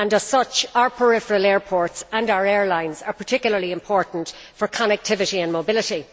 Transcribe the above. As such, our peripheral airports and our airlines are particularly important for connectivity and mobility.